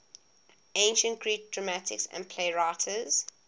ancient greek dramatists and playwrights